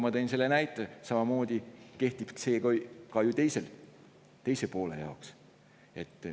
Samamoodi kehtib see ka ju teise poole kohta.